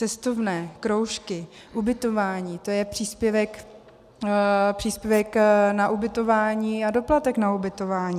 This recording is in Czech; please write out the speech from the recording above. Cestovné, kroužky, ubytování, to je příspěvek na ubytování a doplatek na ubytování.